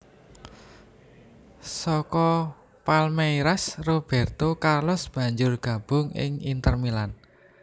Saka Palmeiras Robérto Carlos banjur gabung ing Inter Milan